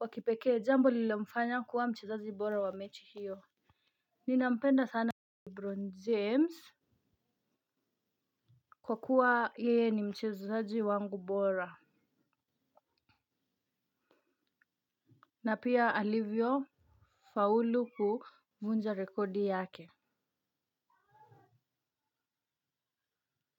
wakipekee. Jambo lililomfanya kuwa mchezaji bora wa mechi hiyo. Nina mpenda sana Lebron James. Kwa kuwa yeye ni mchezaji wangu bora na pia alivyo faulu kuvunja rekodi yake.